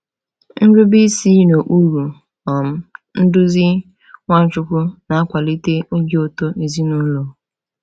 Nrube isi n’okpuru um nduzi Nwachukwu na-akwalite obi ụtọ ezinụlọ.